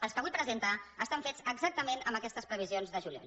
els que avui presenta estan fets exactament amb aquestes previsions de juliol